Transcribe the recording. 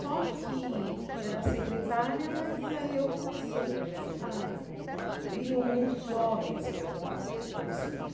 Só que era secretária, mas aí eu comecei a... Iam muitos jovens procurar o conselho.